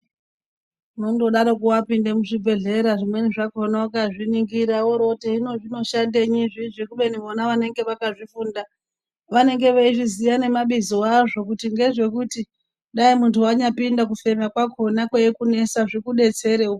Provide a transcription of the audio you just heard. Uno ndodaroko wapinda muzvibhehlera zvimweni zvakona ukazviningira worooti hino zvinoshandei izvizvi kubeni vakazvifunda vanenge veizviziya ngemabizo azvo ngezvekuti dai muntu wanyapinda kufema kwakona kweikunesa zviku detserewo